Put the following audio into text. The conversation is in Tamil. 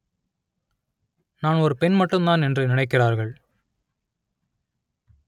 நான் ஒரு பெண் மட்டும்தான் என்று நினைக்கிறார்கள்